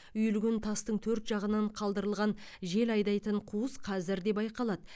үйілген тастың төрт жағынан қалдырылған жел айдайтын қуыс қазір де байқалады